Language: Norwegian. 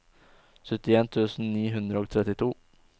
syttien tusen ni hundre og trettito